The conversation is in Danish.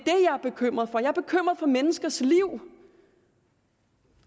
er bekymret for jeg er bekymret for menneskers liv